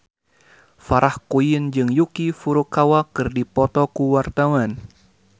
Farah Quinn jeung Yuki Furukawa keur dipoto ku wartawan